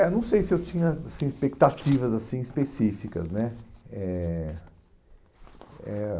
É, não sei se eu tinha assim expectativas assim específicas, né? Eh eh ah